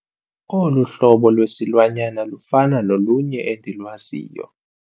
Olu hlobo lwesilwanyana lufana nolunye endilwaziyo.